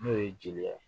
N'o ye jeliya ye